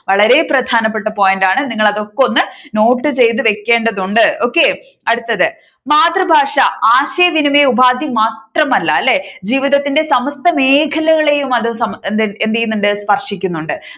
വളരെ പ്രധാനപ്പെട്ട point ആണ് നിങ്ങൾ അതൊക്കെ ഒന്ന് note ചെയ്തു വെക്കേണ്ടതുണ്ട് okay. അടുത്തത് മാതൃഭാഷ ആശയവിനിമയം ഉപാധി മാത്രമല്ല അല്ലേ ജീവിതത്തിന്റെ സമസ്ത മേഖലകളെയും അത് എന്ത്എന്ത് ചെയ്യുന്നുണ്ട് സ്പർശിക്കുന്നുണ്ട്